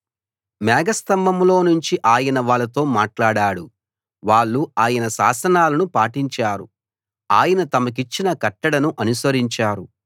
మేఘస్తంభంలో నుంచి ఆయన వాళ్ళతో మాట్లాడాడు వాళ్ళు ఆయన శాసనాలను పాటించారు ఆయన తమకిచ్చిన కట్టడను అనుసరించారు